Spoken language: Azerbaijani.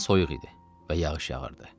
Hava soyuq idi və yağış yağırdı.